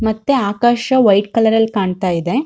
ಮತ್ತೆ ಆಕಾಶ white colour ರಲ್ಲಿ ಕಾಣತ್ತಾ ಇದೆ.